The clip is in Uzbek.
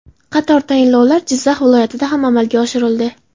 Qator tayinlovlar Jizzax viloyatida ham amalga oshirildi.